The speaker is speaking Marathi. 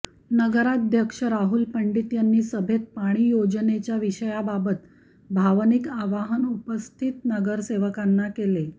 नगराध्यक्ष राहुल पंडित यांनी सभेत पाणी योजनेच्या विषयाबाबत भावनिक आवाहन उपस्थित नगरसेवकांना केले